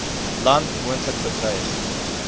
land moontlik bedreig